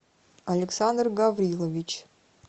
александр гаврилович